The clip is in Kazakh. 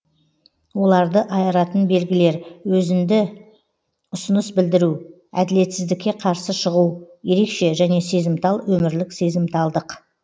оларды айыратын белгілер өзінді ұсыныс білдіру әділетсіздікке қарсы шығу ерекше және сезімтал өмірлік сезімталдық